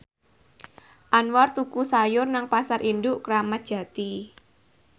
Anwar tuku sayur nang Pasar Induk Kramat Jati